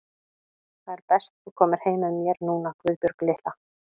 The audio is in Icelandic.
Það er best þú komir heim með mér núna, Guðbjörg litla.